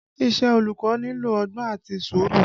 Iṣẹ́ olùkọ́ nílò ọgbọ́n àti sùúrù